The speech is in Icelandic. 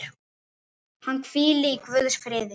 Hann hvíli í Guðs friði.